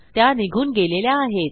त्या निघून गेलेल्या आहेत